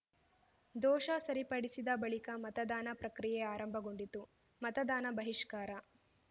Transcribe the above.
ದೋಷ ಸರಿಪಡಿಸಿದ ಬಳಿಕ ಮತದಾನ ಪ್ರಕ್ರಿಯೆ ಆರಂಭಗೊಂಡಿತು ಮತದಾನ ಬಹಿಷ್ಕಾರ